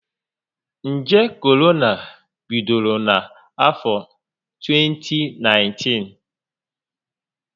Njé Korona bidoro na afọ 2019